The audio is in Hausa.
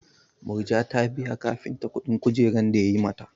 Murja ta biya kafinta kuɗin kujerar da yayi mata.